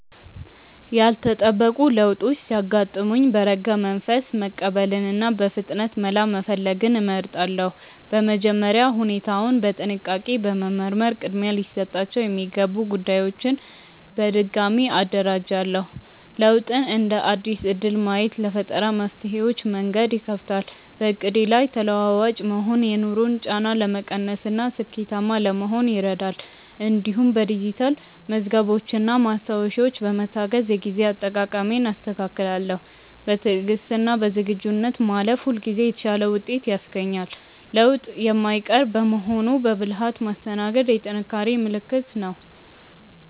ያልተጠበቁ ለውጦች ሲያጋጥሙኝ በረጋ መንፈስ መቀበልንና በፍጥነት መላ መፈለግን እመርጣለሁ። በመጀመሪያ ሁኔታውን በጥንቃቄ በመመርመር ቅድሚያ ሊሰጣቸው የሚገቡ ጉዳዮችን በድጋሚ አደራጃለሁ። ለውጥን እንደ አዲስ እድል ማየት ለፈጠራ መፍትሄዎች መንገድ ይከፍታል። በዕቅዴ ላይ ተለዋዋጭ መሆን የኑሮን ጫና ለመቀነስና ስኬታማ ለመሆን ይረዳል። እንዲሁም በዲጂታል መዝገቦችና ማስታወሻዎች በመታገዝ የጊዜ አጠቃቀሜን አስተካክላለሁ። በትዕግስትና በዝግጁነት ማለፍ ሁልጊዜ የተሻለ ውጤት ያስገኛል። ለውጥ የማይቀር በመሆኑ በብልሃት ማስተናገድ የጥንካሬ ምልክት ነው።